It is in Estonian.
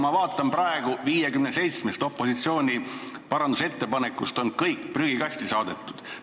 " Ma näen praegu, et 57 opositsiooni parandusettepanekust on kõik prügikasti saadetud.